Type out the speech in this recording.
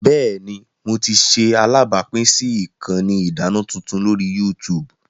Bẹẹni, Mo ti ṣe alabapin si ikanni idana tuntun lori YouTube.